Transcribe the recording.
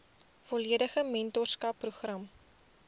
volledige mentorskap program